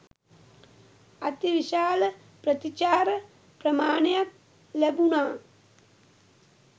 අති විශාල ප්‍රතිචාර ප්‍රමාණයක් ලැබුණා.